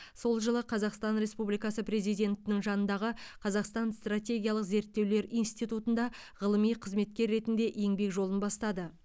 сол жылы қазақстан республикасы президентінің жанындағы қазақстан стратегиялық зерттеулер институтында ғылыми қызметкер ретінде еңбек жолын бастады